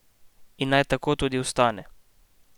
In naj tako tudi ostane.